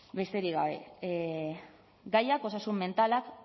besterik gabe gaiak osasun mentalak